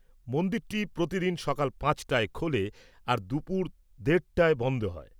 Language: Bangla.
মন্দিরটি প্রতিদিন সকাল পাঁচটায় খোলে আর দুপুর দেড়টায় বন্ধ হয়।